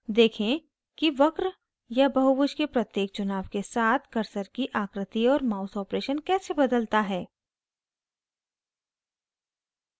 देखें कि वक्र या बहुभुज के प्रत्येक चुनाव के साथ cursor की आकृति और mouse operations कैसे बदलता है